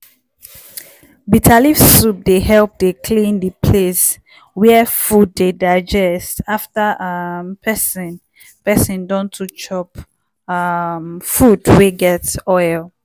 bitter leaf soup dey help dey clean di place wia food dey digest after um peson peson don too chop um food wey get oil.